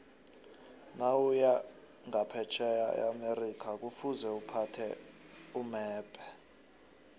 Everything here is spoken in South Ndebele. nawuya nqaphetjheya eamerica kufuze uphathe umebhe